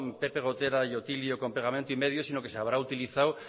pepe gotera y otilio con pegamento imedio sino que se habrá utilizado